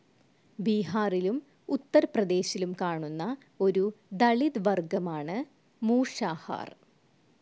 ബീഹാറിലും ഉത്തർ പ്രദേശിലും കാണുന്ന ഒരു ദളിത് വർഗ്ഗമാണ് മൂഷാഹാർ.